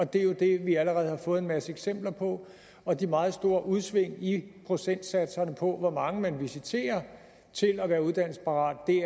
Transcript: det er jo det vi allerede har fået en masse eksempler på og de meget store udsving i procentsatserne på hvor mange man visiterer til at være uddannelsesparat